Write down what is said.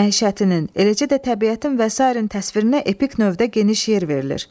məişətinin, eləcə də təbiətin və sairənin təsvirinə epik növdə geniş yer verilir.